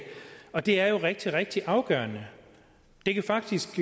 og det er jo rigtig rigtig afgørende det kan faktisk